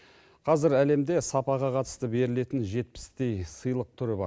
қазір әлемде сапаға қатысты берілетін жетпістей сыйлық түрі бар